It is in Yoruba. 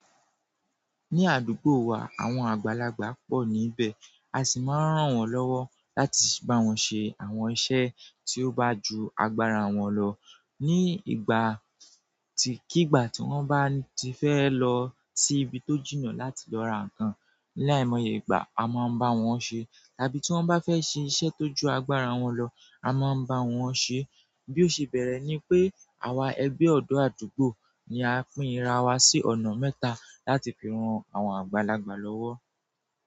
Ní àdúgbò wa àwọn àgbàlagbà pọ̀ níbẹ̀, a sì máa ń ràn wọ́n lọ́wọ́ láti bá wọn ṣe àwọn iṣẹ́ tí ó bá ju agbára wọn lọ. Ní ìgbà tí kigbà tí wọ́n bá ti fẹ́ lọ sí ibi tó jìnnà láti lọ ra nǹkan ní láìmọye ìgbà, a máa ń bá wọn ṣe. Tàbí tí wọ́n bá fẹ́ ṣe iṣẹ́ tó ju agbára wọn lọ, a máa ń bá wọn ṣe. Bí ó ṣe bẹ́rẹ́ ni pé àwa ẹgbẹ́ ọ̀dọ́ àdúgbò ni a pín ìrà wa sí ọ̀nà mẹ́ta láti fi ran àwọn àgbàlagbà lọ́wọ́.